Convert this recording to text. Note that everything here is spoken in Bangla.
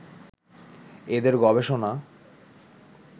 এঁদের গবেষণা